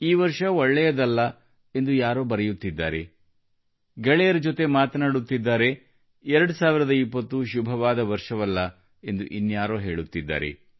ಈ ವರ್ಷ ಒಳ್ಳೆಯದಲ್ಲ ಎಂದು ಯಾರೋ ಬರೆಯುತ್ತಿದ್ದಾರೆ ಗೆಳೆಯರ ಜೊತೆ ಮಾತನಾಡುತ್ತಿದ್ದಾರೆ 2020 ಶುಭವಾದ ವರ್ಷವಲ್ಲ ಎಂದು ಇನ್ಯಾರೋ ಹೇಳುತ್ತಿದ್ದಾರೆ